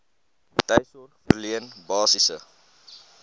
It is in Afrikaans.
tuissorg verleen basiese